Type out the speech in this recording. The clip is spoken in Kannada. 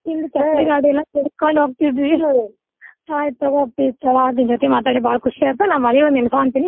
ಹಿಂದ್ ಚಪ್ಪಲಿಗಾಲಿಲೇ ಸಿಡ್ಸ್ಕೊಂಡ್ ಹೋಗ್ತಿದ್ವಿ. ಆಯಿತ್ ತುಗೋ ಅಪ್ಪಿ ನಿನ್ ಜೊತಿ ಮಾತಾಡಿ ಬಾಳ ಖುಷಿ ಆತು. ನಾ ಮಳಿಯೊಳಗ ನೆನಸಂತೆನಿ.